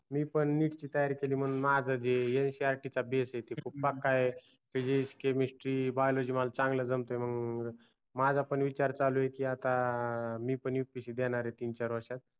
मी पण neet ची तयारी केली म्हणून माझ्या जे ncrt चा base आहे ते खूप पक्का आहे physic chemistry biology मला चांगल जमत म्हणून माझ्या पण विचार चालू आहे की आता मी पण upsc देणार आहे तीन चार वर्षात